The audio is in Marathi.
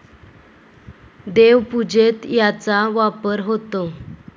देवपूजेत याचा वापर होतो.